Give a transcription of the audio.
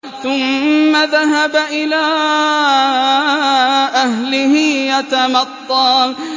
ثُمَّ ذَهَبَ إِلَىٰ أَهْلِهِ يَتَمَطَّىٰ